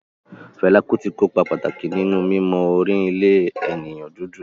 Fela Kuti ko ipa pàtàkì nínú mímọ orin ilẹ̀ ènìyàn dúdú